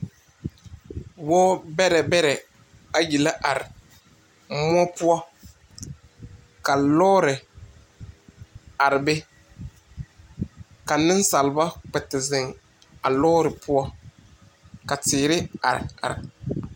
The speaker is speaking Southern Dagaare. Woɔ berɛ berɛ ayi la arẽ moɔ pou ka loɔri arẽ be ka nunsaaliba a kpɛ zeng a loɔri pou ka teere arẽ arẽ.